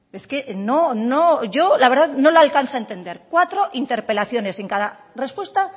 es que no no yo no la alcanzo a entender cuatro interpelaciones en cada respuesta